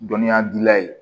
Dɔnniya dila ye